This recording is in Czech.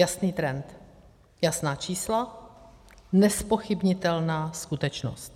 Jasný trend, jasná čísla, nezpochybnitelná skutečnost.